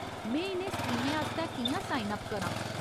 में इ'नें स्कीमें आस्तै कि'यां साइन अप करां ?